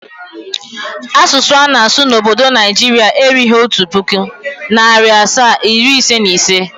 Asụsụ ana-asụ n'obdo Naijiria erughi otu pụkụ, narị asaa, iri ise na ise.